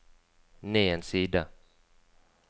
ned en side